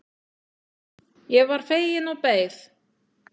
Ég varð fegin og beið.